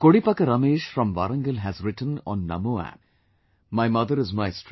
Kodipaka Ramesh from Warangal has written on Namo App"My mother is my strength